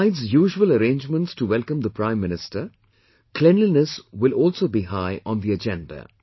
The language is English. Besides usual arrangements to welcome the Prime Minister, cleanliness will also be high on the agenda